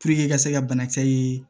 ka se ka banakisɛ ye